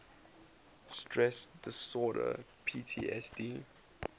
stress disorder ptsd